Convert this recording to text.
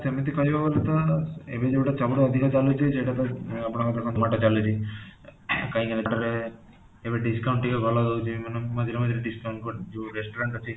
ସେମିତି କହିବାକୁ ଗଲେ ତ ଏବେ ଯୋଉଟା ସବୁଠୁ ଅଧିକ ଚାଲୁଚି ସେଇଟା ଆପଣଙ୍କର ତ zomato ଚାଲୁଚି କାହିଁକି ନା ଯେତେବେଳେ ଏବେ discount ଟିକେ ଅଧିକ ଭଲ ଦଉଚି ମାନେ ମଝିରେ ମଝିରେ discount ଯୋଉ restaurant ଅଛି